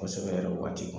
Kosɛbɛ yɛrɛ waati